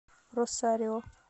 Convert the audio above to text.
росарио